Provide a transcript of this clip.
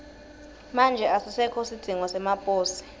manje asisekho sidzingo semaposi